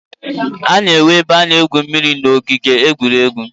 A na-enwe ebe a na-egwu mmiri n'ogige egwuregwu